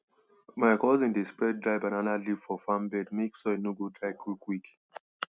my cousin dey spread dry banana leaf for farm bed make soil no go dry quickquick